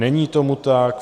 Není tomu tak.